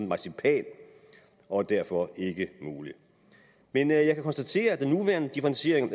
marcipan og er derfor ikke mulig men jeg kan konstatere at den nuværende differentiering